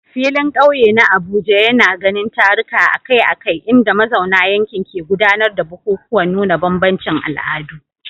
Filin kauye na Abuja yana ganin taruka akai-akai inda mazauna yankin ke gudanar da bukukuwan nuna bambancin al'adu.